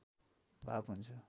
भाव हुन्छ